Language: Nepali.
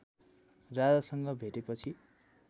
राजासँग भेटेपछि